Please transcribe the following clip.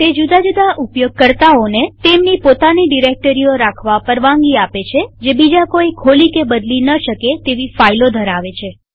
તે જુદા જુદા ઉપયોગકર્તાઓને તેમની પોતાની ડિરેક્ટરીઓ રાખવા પરવાનગી આપે છેજે બીજા કોઈ ખોલી કે બદલી ન શકે તેવી ફાઈલો ધરાવે છે